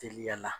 Teliya la